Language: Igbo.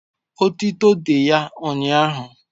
etuto dị ya ụnyahụ